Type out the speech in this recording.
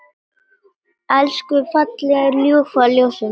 Elsku fallega ljúfa ljósið mitt.